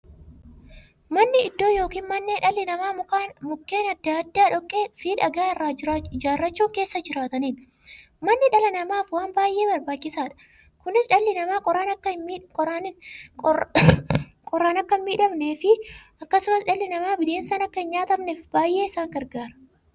Manni iddoo yookiin mandhee dhalli namaa Mukkeen adda addaa, dhoqqeefi dhagaa irraa ijaarachuun keessa jiraataniidha. Manni dhala namaaf waan baay'ee barbaachisaadha. Kunis, dhalli namaa qorraan akka hinmiidhamneefi akkasumas dhalli namaa bineensaan akka hinnyaatamneef baay'ee isaan gargaara.